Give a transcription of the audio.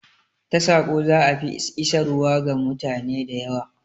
Ta saƙo za'a fi isarwa ga mutane da yawa